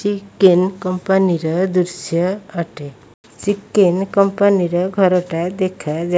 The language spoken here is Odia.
ଚିକେନ କମ୍ପାନୀ ର ଦୃଶ୍ୟ ଅଟେ ଚିକେନ କମ୍ପାନୀ ର ଘର ଟା ଦେଖା ଯାଉ --